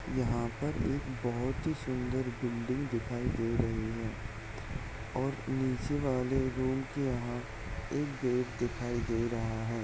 यहाँ पर एक बहुत ही सुन्दरबिल्डिंग दिखाई दे रही है और निचे वाले रूम की यहाँ एक गेट दिखाई दे रहा है।